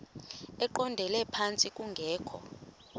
eqondele phantsi kungekho